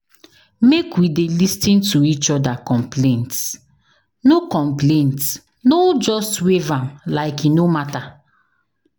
Make we dey lis ten to each other complaints, no complaints, no just wave am like e no matter.